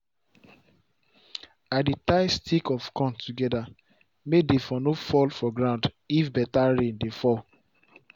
i dey tie stick of corn together may dey for no fall for ground if better rain dey fall